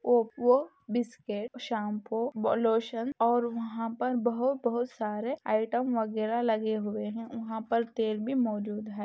Oppo biscuit shampoo बोलोशन और वह पर बहु बहुत सारे आइटम वगेरा लगे हुए हैं वह पर तेल भी मौजूद हैं।